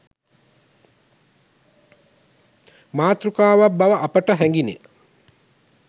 මාතෘකාවක් බව අපට හැඟිණ.